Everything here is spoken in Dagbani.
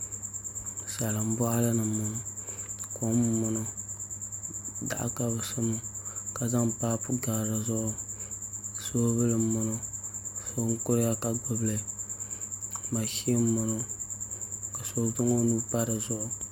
Salin boɣali ni n boŋo kom n boŋo daɣu ka bi sa maa ka zaŋ paapu gari dizuɣu soobuli n boŋo so n kuriya ka gbubili mashin n boŋo ka so zaŋ o nuu pa dizuɣu